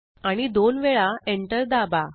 आणि दोन वेळा enter दाबा